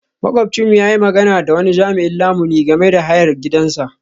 Makwabcinmu ya yi magana da wani jami'in lamuni game da hayar gidansa.